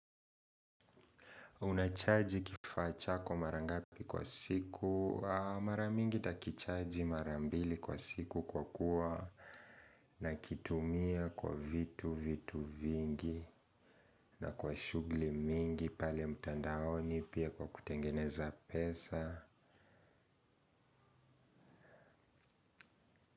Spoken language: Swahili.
Unacharge kifaa chako marangapi kwa siku, maramingi nitakicharge marambili kwa siku kwa kuwa na kitumia kwa vitu vitu vingi na kwa shugli mingi pali ya mtandaoni pia kwa kutengeneza pesa.